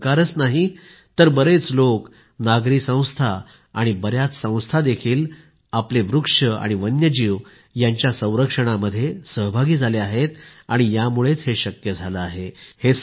केवळ सरकारच नाही तर बरेच लोक नागरी संस्था आणि बर्याच संस्था देखील आपले वृक्ष आणि वन्यजीव यांच्या संरक्षणामध्ये सहभागी झाले आहेत यामुळे हे शक्य झाले आहे